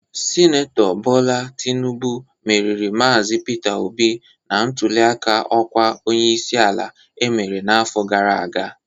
Sinetọ Bola Tinubụ meriri Maazi Peter Obi na ntuliaka ọkwa onyeisi ala emere n'afọ gara aga